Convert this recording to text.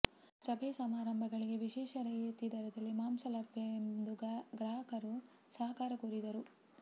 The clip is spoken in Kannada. ಸಭೆ ಸಮಾರಂಭಗಳಿಗೆ ವಿಶೇಷ ರಿಯಾಯಿತಿ ದರದಲ್ಲಿ ಮಾಂಸ ಲಭ್ಯ ಎಂದು ಗ್ರಾಹಕರ ಸಹಕಾರ ಕೋರಿದರು